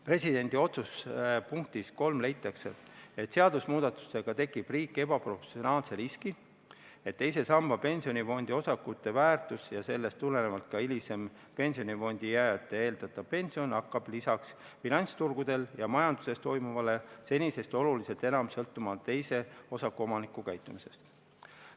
Presidendi otsuse punktis 3 leitakse, et seaduse muutmisega tekitab riik ebaproportsionaalse riski, et teise samba pensionifondi osakute väärtus ja sellest tulenevalt ka pensionifondi jääjate hilisem eeldatav pension hakkab lisaks finantsturgudel ja majanduses toimuvale senisest oluliselt enam sõltuma teise osaku omanike käitumisest.